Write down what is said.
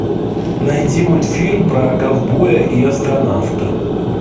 найди мультфильм про ковбоя и астронавта